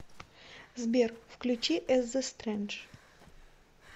сбер включи эс зэ стрэндж